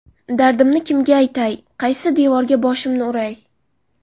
Dardimni kimga aytay, qaysi devorga boshimni uray.